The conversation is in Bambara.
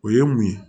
O ye mun ye